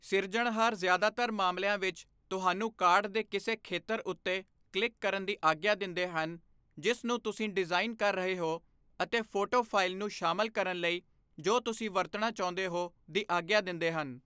ਸਿਰਜਣਹਾਰ ਜ਼ਿਆਦਾਤਰ ਮਾਮਲਿਆਂ ਵਿੱਚ, ਤੁਹਾਨੂੰ ਕਾਰਡ ਦੇ ਕਿਸੇ ਖੇਤਰ ਉੱਤੇ ਕਲਿੱਕ ਕਰਨ ਦੀ ਆਗਿਆ ਦਿੰਦੇ ਹਨ ਜਿਸ ਨੂੰ ਤੁਸੀਂ ਡਿਜ਼ਾਈਨ ਕਰ ਰਹੇ ਹੋ ਅਤੇ ਫੋਟੋ ਫਾਇਲ ਨੂੰ ਸ਼ਾਮਲ ਕਰਨ ਲਈ ਜੋ ਤੁਸੀਂ ਵਰਤਣਾ ਚਾਹੁੰਦੇ ਹੋ ਦੀ ਆਗਿਆ ਦਿੰਦੇ ਹਨ।